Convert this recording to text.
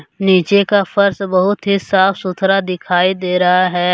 नीचे का फर्श बहुत ही साफ सुथरा दिखाई दे रहा है।